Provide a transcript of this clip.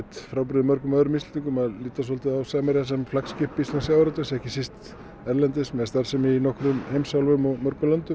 frábrugðinn mörgum öðrum Íslendingum að líta á Samherja sem flaggskip íslensks sjávarútvegs ekki síst erlendis með starfsemi í nokkrum heimsálfum og mörgum löndum